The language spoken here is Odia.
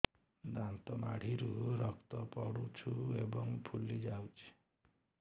ଦାନ୍ତ ମାଢ଼ିରୁ ରକ୍ତ ପଡୁଛୁ ଏବଂ ଫୁଲି ଯାଇଛି